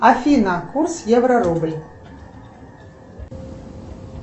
афина курс евро рубль